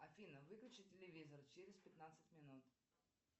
афина выключи телевизор через пятнадцать минут